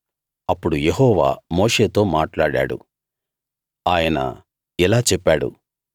అప్పుడు యెహోవా మోషేతో మాట్లాడాడు ఆయన ఇలా చెప్పాడు